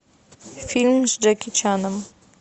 фильм с джеки чаном